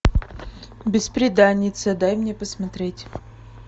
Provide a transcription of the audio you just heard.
бесприданница дай мне посмотреть